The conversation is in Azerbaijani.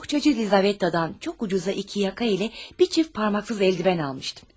Bohçacı Lizavettadan çox ucuz qiymətə iki yaxa ilə bir cüt barmaqsız əlcək almışdım.